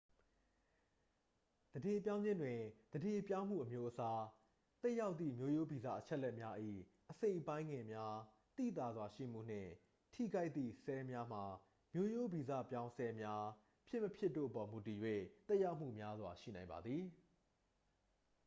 သန္ဓေပြောင်းခြင်းတွင် သန္ဓေပြောင်းမှု အမျိုးအစား သက်ရောက်သည့် မျိုးရိုးဗီဇ အချက်အလက်များ၏ အစိတ်အပိုင်းငယ်များ သိသာစွာရှိမှုနှင့် ထိခိုက်သည့် ဆဲလ်များမှာ မျိုးရိုးဗီဇပြောင်းဆဲလ်များ ဖြစ်မဖြစ်တို့အပေါ် မူတည်၍ သက်ရောက်မှုများစွာ ရှိနိုင်ပါသည်